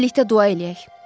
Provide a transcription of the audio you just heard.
Birlikdə dua eləyək.